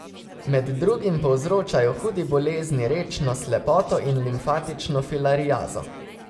Med drugim povzročajo hudi bolezni rečno slepoto in limfatično filariazo.